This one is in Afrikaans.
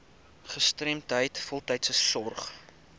gestremdheid voltydse sorg